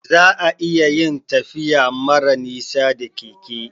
Za'a iya yin tafiya mara nisa da keke